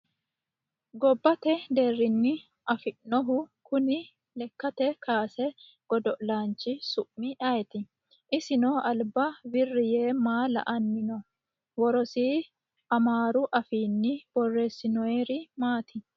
Gobbate deerrinni afaminohu Kuni lekketa kaase godo'laanchi su'mi ayeeti? Isino alba wirri yee maa la'anni noo? Worosii amaaru afiinni borresinoyiri maati?